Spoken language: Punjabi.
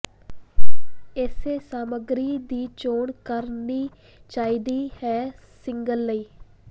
ਇਸੇ ਸਮੱਗਰੀ ਦੀ ਚੋਣ ਕਰਨੀ ਚਾਹੀਦੀ ਹੈ ਸੀਲਿੰਗ ਲਈ